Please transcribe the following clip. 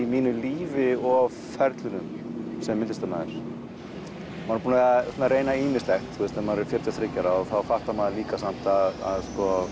mínu lífi og á ferlinum sem listamaður maður er búinn að reyna ýmislegt þegar maður er fjörutíu og þriggja ára og þá fattar maður líka að